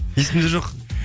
есімде жоқ